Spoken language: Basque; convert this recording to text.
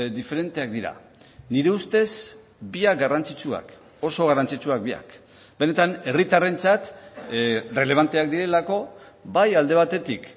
diferenteak dira nire ustez biak garrantzitsuak oso garrantzitsuak biak benetan herritarrentzat errelebanteak direlako bai alde batetik